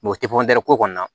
o tɛ ko kɔnɔna na